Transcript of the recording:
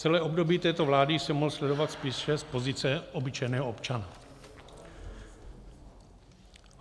Celé období této vlády jsem mohl sledovat spíše z pozice obyčejného občana.